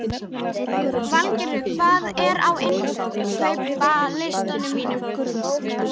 Valgerður, hvað er á innkaupalistanum mínum?